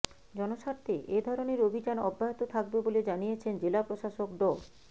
জনস্বার্থে এ ধরনের অভিযান অব্যাহত থাকবে বলে জানিয়েছেন জেলা প্রশাসক ড